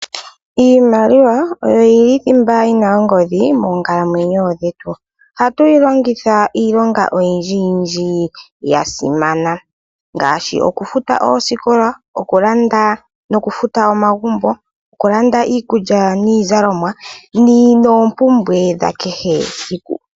Iimaliwa oyo yili thimba yina ongodhi moonkalamwenyo dhetu. Ohatu yi longitha iilonga oyindjiyindji yasimana ngaashi okufuta oosikola, okulanda nokufuta omagumbo, okulanda iikulya niizalomwa noompumbwe dhakehe esiku.